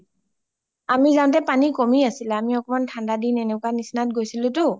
আমি যাওঁতে পানী কমি আছিলে, আমি অকমাণ ঠাণ্ডাৰ দীন এনেকোৱা নিচিনাত গৈছিলোতো